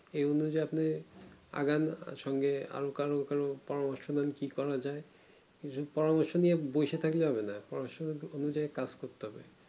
এ অনুযায়ীই আপনি আগান কারোর সঙ্গে আর কারো কারো পরামর্শ নেন কি করা যাই এইসব পরামর্শ নিয়ে বসে থাকলে হবে না পরামর্শ অনুযায়ীই কাজ করতে হবে